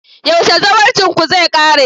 yaushe zawarcinku zai kare?